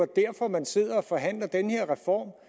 derfor man sidder og forhandler den her reform